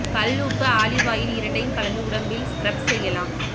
கல் உப்பு olive oil இரண்டையும் கலந்து உடம்பில் ஸ்கிரப் செய்யலாம்